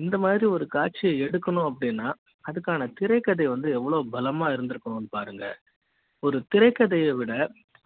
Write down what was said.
இந்த மாதிரி ஒரு காட்சி எடுக்க ணும் அப்டின்னா அதுக்கான திரைக்கதை வந்து எவ்ளோ பல மா இருக்கும்னு பாருங்க ஒரு திரைக்கதை யை விட